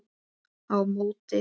á móti.